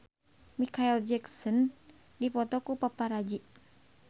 Micheal Jackson dipoto ku paparazi